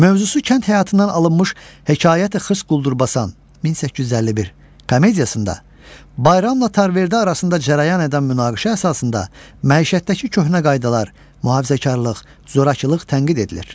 Mövzusu kənd həyatından alınmış Hekayəti Xırs Quldurbasan (1851) komediyasında Bayramla Tarverdə arasında cərəyan edən münaqişə əsasında məişətdəki köhnə qaydalar, mühafizəkarlıq, zorakılıq tənqid edilir.